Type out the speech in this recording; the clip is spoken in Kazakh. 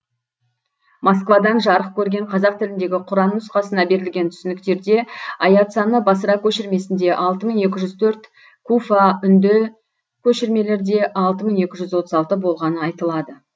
москвадан жарық көрген қазақ тіліндегі құран нұсқасына берілген түсініктерде аят саны басыра көшірмесінде алты мың екі жүз төрт куфа үнді көшірмелерде алты мың екі жүз отыз алты болғаны айтылады